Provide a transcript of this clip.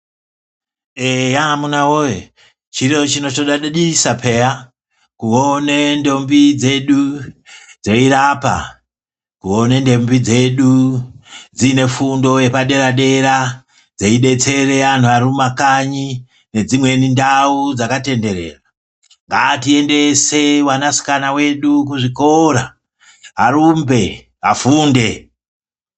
Eya amuna woye chiro chinotodadisa peya kuona ndombi dzedu dzeirapa kuona ndombi dzedu dzine fundo yepaderadera dzeidetsere anhu arimumakanya ngedzimweni ndau dzakatenderera ngatiendese vanasikana vedu kuzvikora arumbe afunde .